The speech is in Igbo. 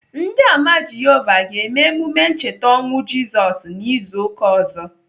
Ndị Ámá Jehovah ga-eme emume ncheta ọnwụ Jisos n'izu ụka ọzọ.